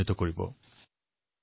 দৰাচলতে বিজ্ঞানেই হল বিকাশ পথ